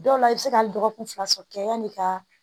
Dɔw la i bɛ se ka dɔgɔkun fila sɔrɔ kɛ yani ka